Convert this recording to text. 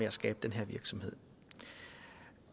at skabe den virksomhed